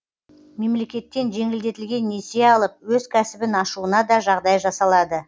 мемлекеттен жеңілдетілген несие алып өз кәсібін ашуына да жағдай жасалады